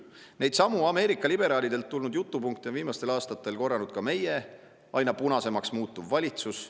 Neidsamu Ameerika liberaalidelt tulnud jutupunkte on viimastel aastatel korranud ka meie aina punasemaks muutuv valitsus.